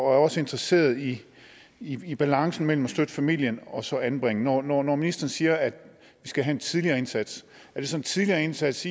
er også interesseret i i balancen mellem at støtte familien og så at anbringe når når ministeren siger at vi skal have en tidligere indsats er det så en tidligere indsats